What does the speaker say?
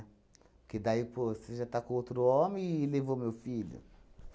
Porque daí, pô, você já está com outro homem e levou o meu filho?